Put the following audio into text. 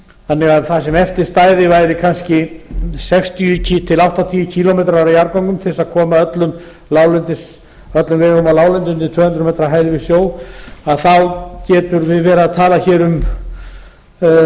þannig að það sem eftir stæði væru kannski sextíu til áttatíu kílómetrar af jarðgöngum til þess að koma öllum vegum á láglendi undir tvö hundruð metra hæð yfir sjó þá getum við verið að tala hér í kringum